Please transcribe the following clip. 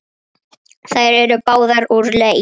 Þær eru báðar úr leik.